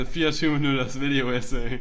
24 minutters video essay